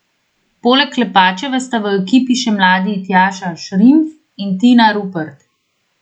Poleg Klepačeve sta v ekipi še mladi Tjaša Šrimpf in Tina Rupert.